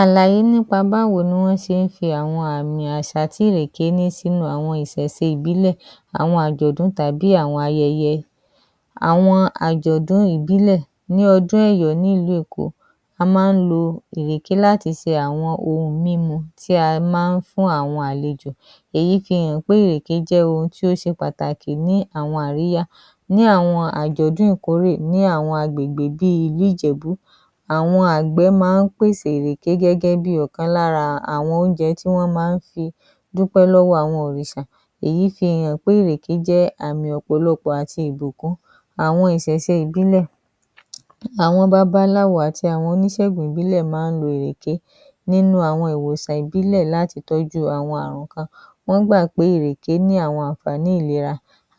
Àlàyé nípa báwo ní wọ́n se ń fi àwọn àmì àsà tí ìrèké ń ní sínú àwọn ìsẹ̀se ìbílẹ̀, àwọn àjọ̀dún, tàbí àwọn ayẹyẹ. Àwọn àjọ̀dún ìbílẹ̀ ní ọdún ẹ̀yọ̀ ní ìlú Ẹ̀kọ́. A maá ń lo ìrèké láti se àwọn ohun mímu tí a maá ń fún àwọn àlejò. Èyí fi hàn pé ìrèké je ohun tí ó ṣe pàtàkì ní àwọn àríyá. Ní àwọn àjọ̀dún ìkórè ní àwọn agbègbè bíi ìlú Ìjẹ̀bú, àwọn àgbẹ̀ maá ń pèsè írèké gẹ́gẹ́ bí ọ̀kan lára àwọn oúnjẹ tí wọ́n maá ń fi dúpẹ́ lọ́wọ́ àwọn òrìṣà. Èyí fi hàn pé ìrèké jẹ́ àmì ọ̀pọ̀lọpọ́ àti ìbùkún. Àwọn ìsẹ̀se ìbílẹ̀, àwọn babaláwo àti àwọn onísègùn ìbílẹ̀ maá ń lo ìrèké nínú àwọn ìwòsàn ìbílẹ̀ láti tọ́jú àwọn àrùn kan. Wọ́n gbà pé ìrèké ní àwọn ànfààní ìlera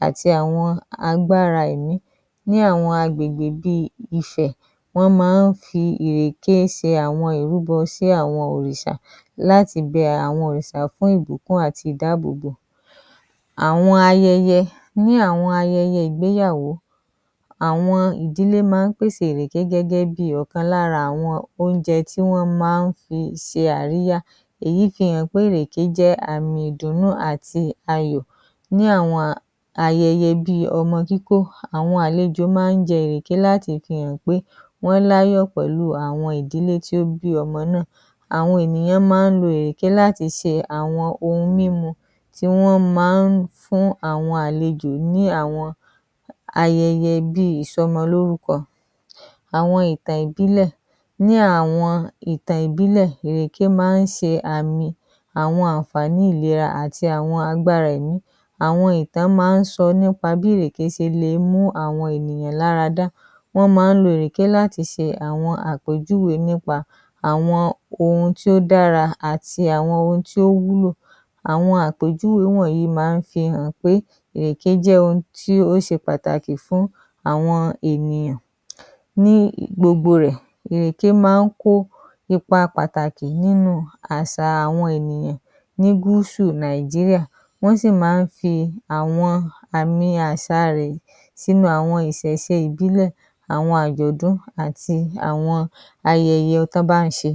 àti àwọn agbára èmí, ní àwọn agbègbè bí Ifẹ̀, wọ́n maá ń fi ìrèké sin àwọn ìrúbọ sí àwọn òrìsà láti bẹẹ àwọn òrìsà fún ìbùkún àti ìdáàbòbò. Àwọn ayẹyẹ, ní àwọn ayẹyẹ ìgbéyàwó, àwọn ìdílé maá ń pèsè írèké gẹ́gẹ́ bí ọ̀kan lára àwọn oúnjẹ tí wọ́n maá ń fi se àríyá. Èyí fi hàn pé ìrèké jẹ́ àmì ìdùnnú àti ayọ̀. Ní àwọn ayẹyẹ bí ọmọ kíkó, àwọn àlejò máa ń jẹ ìrèké láti fi hàn pé wọ́n l'áyọ pẹ̀lú àwọn ìdílé tí ó bí ọmọ náà. Àwọn ènìyàn maá ń lo ìrèké láti se àwọn ohun mímu tí wọ́n maá fún àwọn àlejò ní àwọn ayẹyẹ bí ìsọmolọ́rúkọ. Àwọn ìtàn ìbílẹ̀, ní àwọn ìtàn ìbílẹ̀, ìrèké maá ń se àmì àwọn ànfààní ìlera àti àwọn agbára èmí. Àwọn ìtàn maá ń sọ nípa bí ìrèké se le mú àwọn ènìyàn lára dá. Wọ́n maá ń lo ìrèké láti se àwọn àpèjúwe nípa àwọn ohun tí ó dára àti àwọn ohun tí ó wúlò. Àwọn àpèjúwe wọ̀nyí maá ń fi hàn pé ìrèké jẹ́ ohun tí ó se pàtàkì fún àwọn ènìyàn. Ní gbogbo rẹ̀, ìrèké maá ń kó ipa pàtàkì nínú àṣà àwọn ènìyàn ní gúúsù Nàìjíríà. Wọ́n sì maá ń fi àwọn àmì àsà rẹ̀ sínú àwọn ìsẹ̀se ìbílẹ̀, àwọn àjọ̀dún àti àwọn ayẹyẹ tán bá ń ṣe.